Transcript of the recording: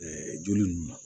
joli ninnu ma